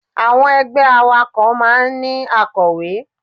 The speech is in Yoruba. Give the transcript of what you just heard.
Àwọn ẹgbẹ́ awakọ̀ máa ń ní akọ̀wé.